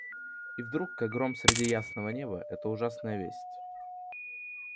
и вдруг как гром среди ясного неба эта ужасная весть